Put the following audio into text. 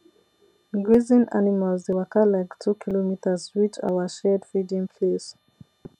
grazing animals dey waka like two kilometres reach our shared feeding place